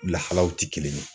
Lahalaw ti kelen ye.